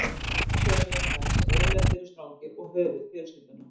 Annars vegar eru menn sem yfirleitt eru strangir og höfuð fjölskyldunnar.